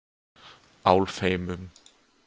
Álfheimum